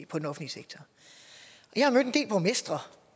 jeg har mødt en del borgmestre og